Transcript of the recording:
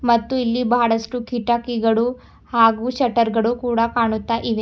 ಮತ್ತು ಇಲ್ಲಿ ಬಹಳಷ್ಟು ಕಿಟಕಿಗಳು ಹಾಗೂ ಶಟರ್ ಗಳು ಕೂಡ ಕಾಣುತ್ತಾ ಇವೆ.